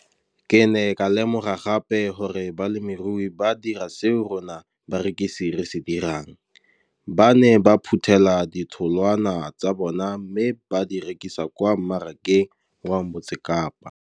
Ke ne ka lemoga gape gore balemirui ba dira seo rona barekisi re se dirang ba ne ba phuthela ditholwana tsa bona mme ba di rekisa kwa marakeng wa Motsekapa.